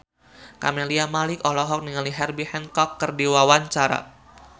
Camelia Malik olohok ningali Herbie Hancock keur diwawancara